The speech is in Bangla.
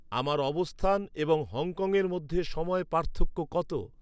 আমার অবস্থান এবং হংকংয়ের মধ্যে সময় পার্থক্য কত?